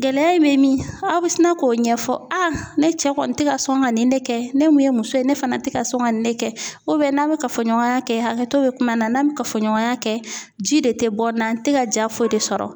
Gɛlɛya in bɛ min ? Aw bɛ sina k'o ɲɛfɔ . ne cɛ kɔni tɛ ka sɔn ka nin ne kɛ, ne mun ye muso ye ne fana tɛ ka sɔn ka nin ne kɛ. n'a bɛ kafoɲɔgɔnya kɛ hakɛto bɛ kuma na, n'an bɛ kafoɲɔgɔnya kɛ ji de tɛ bɔ n na, n tɛ ka diya foyi de sɔrɔ .